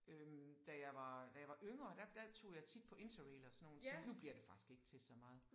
Øh da jeg var da jeg var yngre der der tog jeg tit på Interrail og sådan nogle ting. Nu bliver det faktisk ikke til så meget